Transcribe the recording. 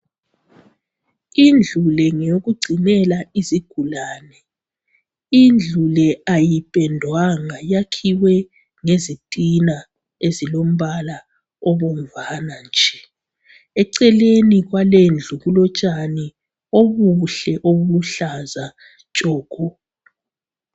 indlu le ngeyokugcinela izigulane indlu le ayipendwanga yakhiwe ngezitina ezilombala obomvana eceleni kwalendlu kulotshani obuhle obuluhlaza tshoko